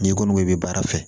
N'i kɔni bɛ baara fɛ